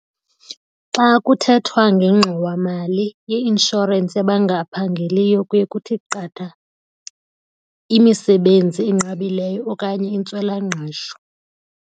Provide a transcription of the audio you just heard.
Xa kuthethwa ngengxowamali i-inshorensi yabangaphangeliyo kuye kuthi qatha imisebenzi enqabileyo okanye intswelangqesho.